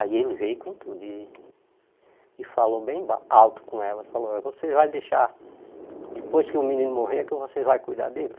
Aí ele veio com tudo e e falou bem ba alto com elas, falou, vocês vão deixar, depois que o menino morrer, é que vocês vão cuidar dele?